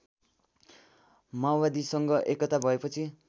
माओवादीसँग एकता भएपछि